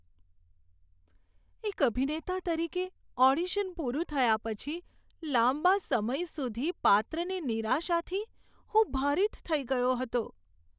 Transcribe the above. એક અભિનેતા તરીકે, ઓડિશન પૂરું થયા પછી લાંબા સમય સુધી પાત્રની નિરાશાથી હું ભારિત થઈ ગયો હતો.